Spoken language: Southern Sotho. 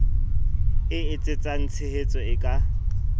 e etsetsang tshehetso e ka